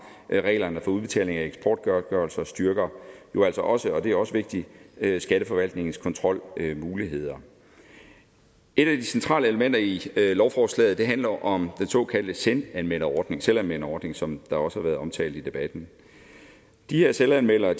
reglerne for udbetaling af eksportgodtgørelse og styrker jo altså også og det er også vigtigt skatteforvaltningens kontrolmuligheder et af de centrale elementer i lovforslaget handler om den såkaldte selvanmelderordning selvanmelderordning som også har været omtalt i debatten de her selvanmeldere